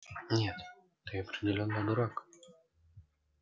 нет ты определённо дурак